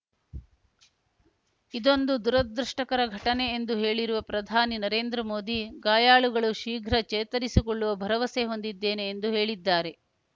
ಇದೊಂದು ದುರದೃಷ್ಟಕರ ಘಟನೆ ಎಂದು ಹೇಳಿರುವ ಪ್ರಧಾನಿ ನರೇಂದ್ರ ಮೋದಿ ಗಾಯಾಳುಗಳು ಶೀಘ್ರ ಚೇತರಿಸಿಕೊಳ್ಳುವ ಭರವಸೆ ಹೊಂದಿದ್ದೇನೆ ಎಂದು ಹೇಳಿದ್ದಾರೆ